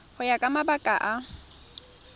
go ya ka mabaka a